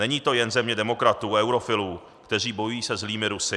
Není to jen země demokratů a eurofilů, kteří bojují se zlými Rusy.